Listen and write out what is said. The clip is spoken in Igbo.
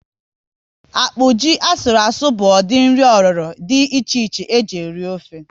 Akpụ, ji asụru asụ bụ ụdị nri oriro dị iche iche eji eri ofe